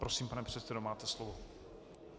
Prosím, pane předsedo, máte slovo.